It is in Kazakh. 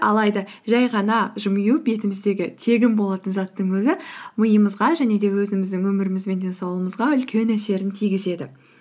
алайда жай ғана жымию бетіміздегі тегін болатын заттың өзі миямызға және де өзіміздің өміріміз бен денсаулығымызға үлкен әсерін тигізеді